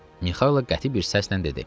Mixaylov qəti bir səslə dedi: